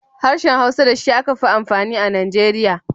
Harshen Hausa da shi aka fi amfani a Nigeria.